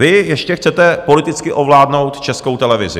Vy ještě chcete politicky ovládnout Českou televizi.